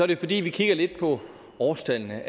det fordi vi kigger lidt på årstallene